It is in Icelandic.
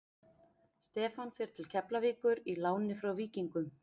Stefán fer til Keflavíkur í láni frá Víkingum.